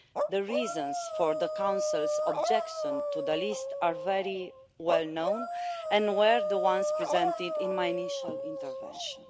The reasons for the Council's objection to the list are very well known and were the ones presented in my initial intervention.